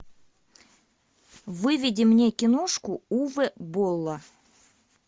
выведи мне киношку уве болла